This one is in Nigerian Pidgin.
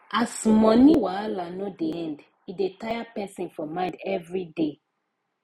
as money wahala no dey end e dey tire person for mind everyday